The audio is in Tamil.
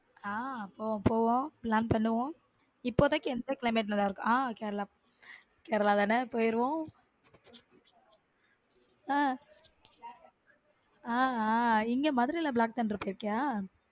ஹம் போவோம் போவோம் plan பண்ணுவோம் இப்போதைக்கு எந்த climate நல்லா இருக்கும் ஹம் கேரளா நல்லா இருக்கும் கேரளா தானே போய்விடும ஹம் இங்க மதுரையி black thunder போய் இருக்கியா.